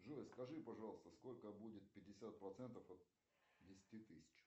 джой скажи пожалуйста сколько будет пятьдесят процентов от десяти тысяч